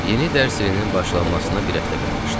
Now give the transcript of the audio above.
Yeni dərs ilinin başlanmasına bir həftə qalmışdı.